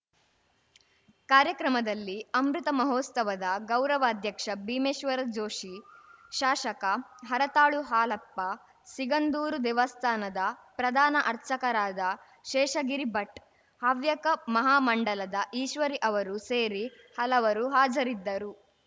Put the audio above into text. ಕಾರ್ಯಕ್ರಮದಲ್ಲಿ ಅಮೃತ ಮಹೋತ್ಸವದ ಗೌರವಾಧ್ಯಕ್ಷ ಭೀಮೇಶ್ವರ ಜೋಷಿ ಶಾಸಕ ಹರತಾಳು ಹಾಲಪ್ಪ ಸಿಗಂಧೂರು ದೇವಸ್ಥಾನದ ಪ್ರಧಾನ ಅರ್ಚಕರಾದ ಶೇಷಗಿರಿ ಭಟ್‌ ಹವ್ಯಕ ಮಹಾಮಂಡಲದ ಈಶ್ವರಿ ಅವರು ಸೇರಿ ಹಲವರು ಹಾಜರಿದ್ದರು